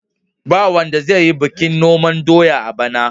Ba wanda zai yi bikin noman doya a bana.